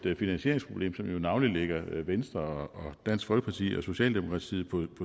finansieringsproblem som navnlig ligger venstre og dansk folkeparti og socialdemokratiet på